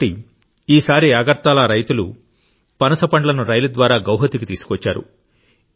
కాబట్టి ఈసారి అగర్తలరైతులు పనస పండ్లను రైలు ద్వారా గౌహతికి తీసుకువచ్చారు